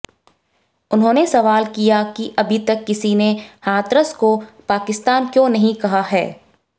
उन्होंने सवाल किया कि अभी तक किसी ने हाथरस को पाकिस्तान क्यों नहीं कहा है